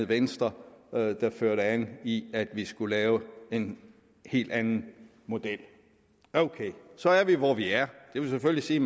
venstre der førte an i at vi skulle lave en helt anden model ok så er vi hvor vi er det vil selvfølgelig sige